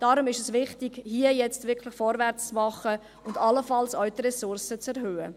deshalb ist es wichtig, hier jetzt wirklich vorwärts zu machen und allenfalls die Ressourcen auch zu erhöhen.